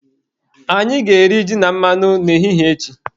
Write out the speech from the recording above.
Anyị ga-eri ji na mmanụ n'ehihie echi